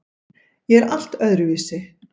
Ég er allt öðruvísi.